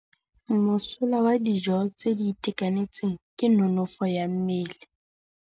Mosola wa dijô tse di itekanetseng ke nonôfô ya mmele.